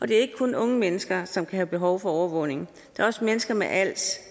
det er ikke kun unge mennesker som kan have behov for overvågning det er også mennesker med als